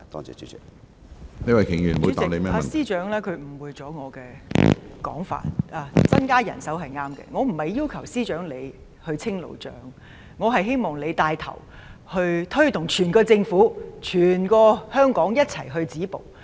主席，司長誤會了我的說話，增加人手是正確的，但我不是要求司長清理路障，我是希望司長牽頭推動整個政府、整個香港一起止暴。